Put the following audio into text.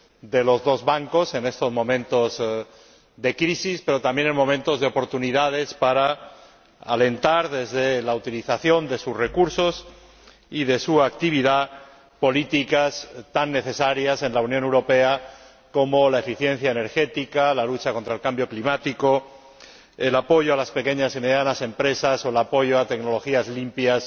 de los dos bancos, en estos momentos de crisis pero también de oportunidades, para alentar, desde la utilización de sus recursos y de su actividad, políticas tan necesarias en la Unión Europea como la eficiencia energética, la lucha contra el cambio climático, el apoyo a las pequeñas y medianas empresas o el apoyo a tecnologías limpias